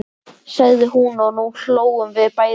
sagði hún og nú hlógum við bæði.